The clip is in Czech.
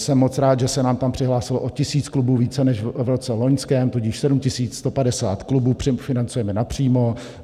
Jsem moc rád, že se nám tam přihlásilo o tisíc klubů více než v roce loňském, tudíž 7 150 klubů financujeme napřímo.